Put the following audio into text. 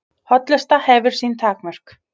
Hollusta hefur sín takmörk